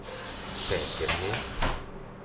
säkerhet